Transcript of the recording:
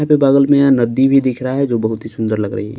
यहाँ पे बगल में यहां नदी भी दिख रहा है जो बहुत ही सुंदर लग रही है।